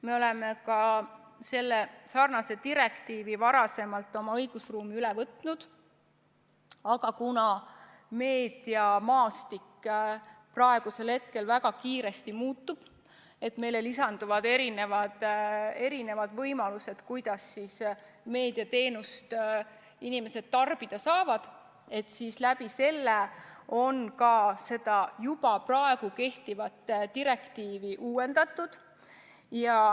Me oleme sarnase direktiivi ka varem oma õigusruumi üle võtnud, aga kuna meediamaastik praegu väga kiiresti muutub, meil lisandub mitmesuguseid võimalusi, kuidas inimesed meediateenust tarbida saavad, siis on ka seda juba kehtivat direktiivi uuendatud.